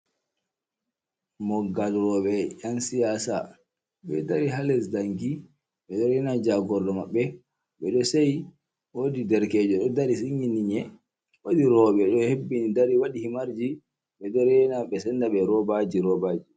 Moggal roɓe yan siyasa. Ɓe ɗari ha les ɗanki. Ɓe ɗo rena jagorɗo maɓɓe. Ɓeɗo seyi. Woɗi ɗerkejo ɗo ɗari sinilgininl nyie. Woɗi roɓe ɗo heɓɓini ɗari waɗi himarji. Ɓe ɗo rena ɓe senɗa ɓe robaji roɓaji.